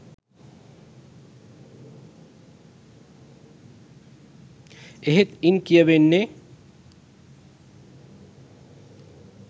එහෙත් ඉන් කියවෙන්නේ